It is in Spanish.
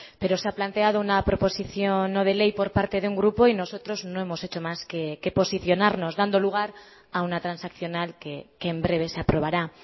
pero se ha planteado una proposición no de ley por parte de un grupo y nosotros no hemos hecho más que posicionarnos dando lugar a una transaccional que en breves se aprobará